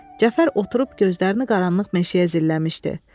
Cəfər oturub gözlərini qaranlıq meşəyə zilləmişdi.